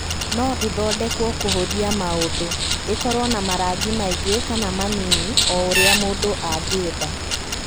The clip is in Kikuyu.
No ĩthondekwo kũhũthia maũndũ ,ĩkorũo na marangi maingĩ kana manini o ũrĩa mũndũ angĩenda.